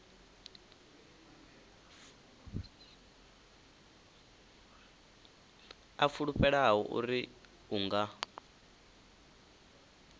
a fulufhela uri u nga